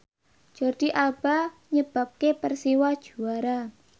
Jordi Alba nyebabke Persiwa juara